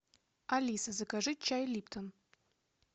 алиса закажи чай липтон